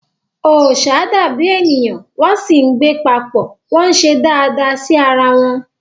Ọṣà dàbí ènìyàn wọ́n sì ń gbé papọ̀, wọ́n ń ṣe dáadáa sí ara wọn.